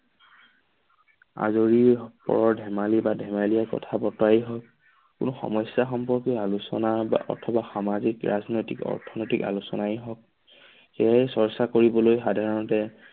আলহীসকলৰ ধেমালি বা ধেমেলীয়া কথা বতৰাই হওঁক কোনো সমস্যা সম্পৰ্কে আলোচনা বা অথবা সামাজিক, ৰাজনৈতিক, অৰ্থনৈতিক আলোচনাই হওঁক সেয়েই চৰ্চ্চা কৰিবলৈ সাধাৰণতে